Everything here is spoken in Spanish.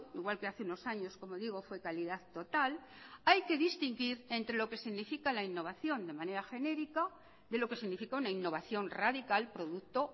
igual que hace unos años como digo fue calidad total hay que distinguir entre lo que significa la innovación de manera genérica de lo que significa una innovación radical producto